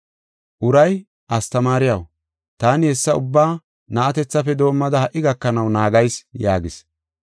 Uray, “Astamaariyaw, taani hessa ubbaa na7atethafe doomada ha77i gakanaw naagayis” yaagis.